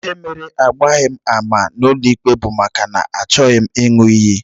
Ihe mere agbaghị m ama n'ụlọikpe bụ maka na achọghị m ịṅụ iyi